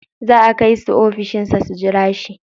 Za a kai su ofishin sa su jira shi.